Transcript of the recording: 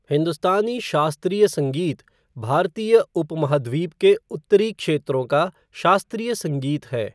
हिन्दुस्तानी शास्त्रीय संगीत भारतीय उपमहाद्वीप के उत्तरी क्षेत्रों का शास्त्रीय संगीत है।